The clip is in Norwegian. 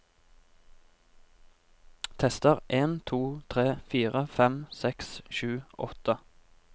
Tester en to tre fire fem seks sju åtte